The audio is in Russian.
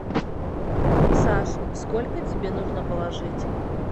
саш сколько тебе нужно положить